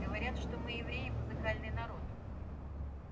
говорят что мы евреи музыкальный народ